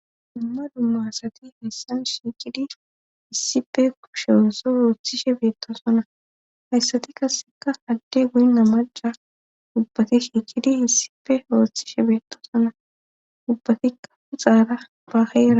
Dumma dumma asati heessan shiikidi issife kushe oozo ooththishe beettosona hayssati kasseka hadde guynna majja dubbati shiikidi issife ooththishe beettosona ubbatikka puxaara ba hera.